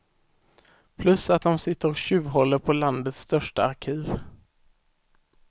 Plus att de sitter och tjuvhåller på landets största arkiv.